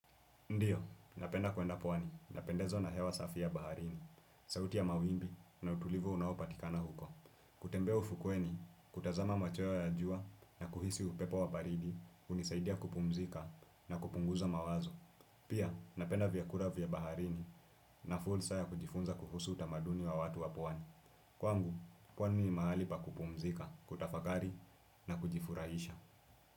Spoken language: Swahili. Ndiyo, napenda kuenda pwani, napendezwa na hewa safi ya baharini, sauti ya mawimbi na utulivu unao patikana huko. Kutembea ufukweni, kutazama machweo ya jua na kuhisi upepo wa baridi, hunisaidia kupumzika na kupunguza mawazo. Pia, napenda vyakula vya baharini na fursa ya kujifunza kuhusu utamaduni wa watu wa pwani. Kwangu, kwani ni mahali pa kupumzika, kutafakari na kujifurahisha.